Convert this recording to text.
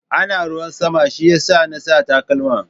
Ana ruwan sama shi ya sa na sa takalma.